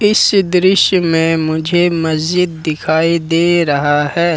इस दृश्य में मुझे मस्जिद दिखाई दे रहा है।